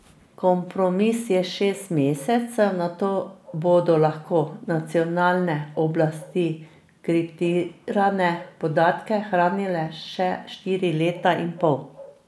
Kompromis je šest mesecev, nato bodo lahko nacionalne oblasti kriptirane podatke hranile še štiri leta in pol.